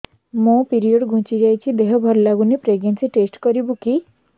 ମୋ ପିରିଅଡ଼ ଘୁଞ୍ଚି ଯାଇଛି ଦେହ ଭଲ ଲାଗୁନି ପ୍ରେଗ୍ନନ୍ସି ଟେଷ୍ଟ କରିବୁ କି